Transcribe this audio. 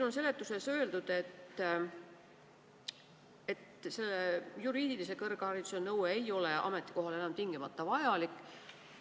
Seletuses on öeldud, et juriidilise kõrghariduse nõue ei ole sellel ametikohal enam tingimata vajalik.